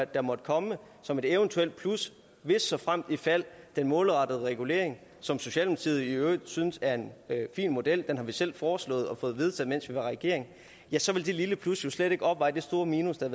der måtte komme som et eventuelt plus hvis såfremt ifald den målrettede regulering som socialdemokratiet i øvrigt synes er en fin model den har vi selv foreslået og fået vedtaget mens vi var i regering så vil det lille plus jo slet ikke opveje det store minus der